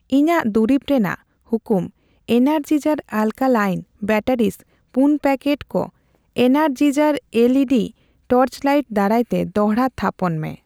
ᱤᱧᱟᱜ ᱫᱩᱨᱤᱵᱽ ᱨᱮᱱᱟᱜ ᱦᱩᱠᱩᱢ ᱮᱱᱟᱨᱡᱤᱡᱟᱨ ᱟᱞᱠᱟᱞᱤᱱ ᱵᱮᱴᱟᱨᱤᱥ ᱯᱩᱱ ᱯᱮᱠᱮᱴ ᱠᱚ ᱮᱱᱟᱨᱡᱤᱡᱟᱨ ᱮᱞᱹᱤᱹᱰᱤ ᱴᱚᱨᱪᱞᱟᱹᱭᱤᱴ ᱫᱟᱨᱟᱭᱛᱮ ᱫᱚᱲᱦᱟ ᱛᱷᱟᱯᱚᱱ ᱢᱮ ᱾